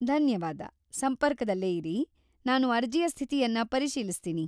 ಧನ್ಯವಾದ, ಸಂಪರ್ಕದಲ್ಲೇ ಇರಿ, ನಾನು ಅರ್ಜಿಯ ಸ್ಥಿತಿಯನ್ನ ಪರಿಶೀಲಿಸ್ತೀನಿ.